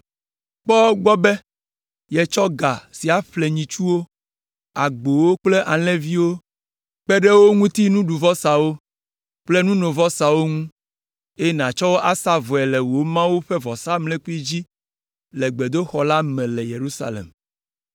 Kpɔ egbɔ be yetsɔ ga sia ƒle nyitsuwo, agbowo kple alẽviwo kpe ɖe wo ŋuti nuɖuvɔsawo kple nunovɔsawo ŋu, eye nàtsɔ wo asa vɔe le wò Mawu ƒe vɔsamlekpui dzi le gbedoxɔ la me le Yerusalem.